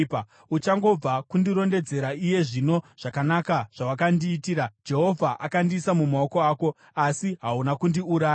Uchangobva kundirondedzera iye zvino zvakanaka zvawakandiitira; Jehovha akandiisa mumaoko ako, asi hauna kundiuraya.